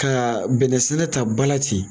Ka bɛnnɛ sɛnɛ ta bala ten